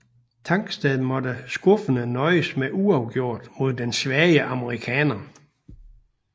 Tangstad måtte skuffende nøjes med uafgjort mod den svage amerikaner